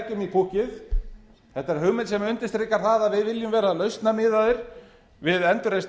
púkkið þetta er hugmynd sem undirstrikar það að við viljum vera lausnamiðaðir við endurreisn